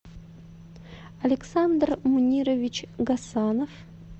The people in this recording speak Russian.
александр мунирович гасанов